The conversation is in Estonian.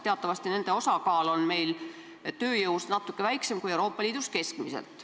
Teatavasti on meil nende osakaal tööjõus natuke väiksem kui Euroopa Liidus keskmiselt.